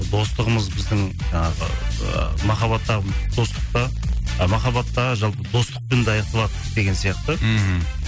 достығымыз біздің жаңағы ы махаббаттағы достықта а махаббаттағы жалпы достықпен де аяқталады деген сияқты мхм